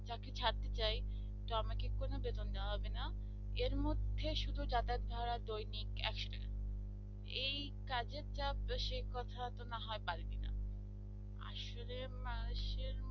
যায় তো আমাকে কোন বেতন দেওয়া হবে না এর মধ্যে শুধু যাতায়াত ভাড়া দৈনিক একশো টাকা এই কাজের চাপ বেশি কথা তো না হয় বাদ দিলাম আসলে